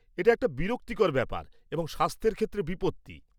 এটা একটা বিরক্তিকর ব্যাপার এবং স্বাস্থ্যের ক্ষেত্রে বিপত্তি।